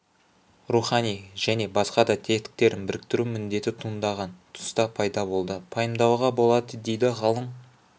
рухани және басқа да тетіктерін біріктіру міндеті туындаған тұста пайда болды пайымдауға болады дейді ғалым